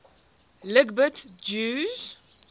lgbt jews